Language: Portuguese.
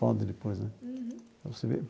Pode depois, né?